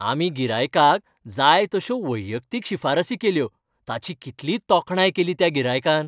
आमी गिरायकाक जाय तश्यो वैयक्तीक शिफारसी केल्यो ताची कितली तोखणाय केली त्या गिरायकान!